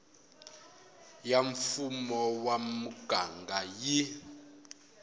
ya mfumo wa muganga yi